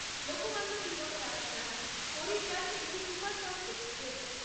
Lokmanya Tilak terminus Haridwar AC superfast express